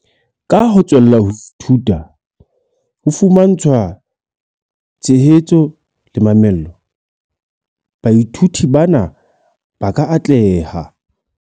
"Ka ho tswella ho ithuta, ho fumantshwa tshehetso le mamello, baithuti bana ba ka atleha."